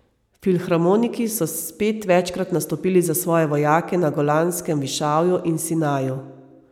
Filharmoniki so spet večkrat nastopili za svoje vojake na Golanskem višavju in Sinaju.